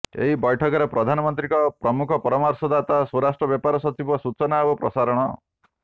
ଏହି ବୈଠକରେ ପ୍ରଧାନମନ୍ତ୍ରୀଙ୍କ ପ୍ରମୁଖ ପରାମର୍ଶଦାତା ସ୍ୱରାଷ୍ଟ୍ର ବ୍ୟାପାର ସଚିବ ସୂଚନା ଓ ପ୍ରସାରଣ